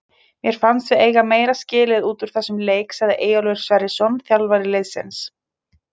Mér fannst við eiga meira skilið út úr þessum leik sagði Eyjólfur Sverrisson þjálfari liðsins.